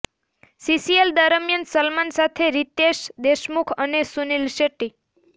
CCl દરમિયાન સલમાન સાથે રીતેશ દેશમુખ અને સુનીલ શેટ્ટી